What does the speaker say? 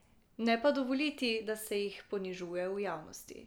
Ne pa dovoliti, da se jih ponižuje v javnosti.